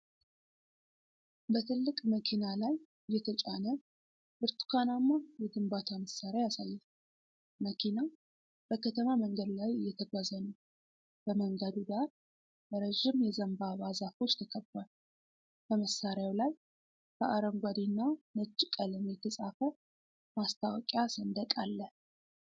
በትልቅ መኪና ላይ የተጫነ ብርቱካናማ የግንባታ መሣሪያ ያሳያል። መኪናው በከተማ መንገድ ላይ እየተጓዘ ነው። በመንገዱ ዳር በረዥም የዘንባባ ዛፎች ተከቧል። በመሳሪያው ላይ በአረንጓዴና ነጭ ቀለም የተጻፈ ማስታወቂያ ሰንደቅ አለ።